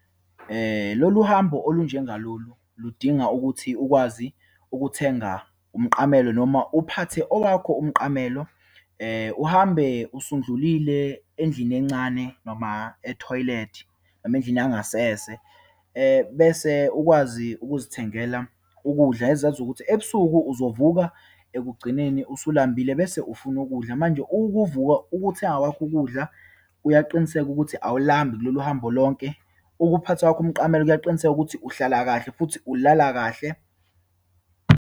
Lolu hambo olunjengalolu, ludinga ukuthi ukwazi ukuthenga umqamelo, noma uphathe owakho umqamelo. Uhambe usudlulile endlini encane, noma ethoyilethi noma endlini yangasese. Bese ukwazi ukuzithengela ukudla, ezazi ukuthi ebusuku uzovuka ekugcineni usulubambile, bese ufuna ukudla. Manje, ukuvuka, ukuthenga kwakho ukudla kuyaqiniseka ukuthi awulibambi kulolu hambo lonke. Ukuphatha kwakho umqamelo kuyaqiniseka ukuthi uhlala kahle, futhi ulala kahle.